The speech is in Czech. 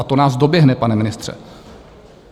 A to nás doběhne, pane ministře.